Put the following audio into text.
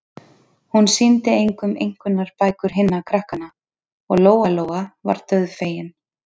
Hún sýndi engum einkunnabækur hinna krakkanna, og Lóa-Lóa var dauðfegin.